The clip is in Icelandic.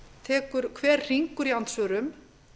tekur hver hringur í andsvörum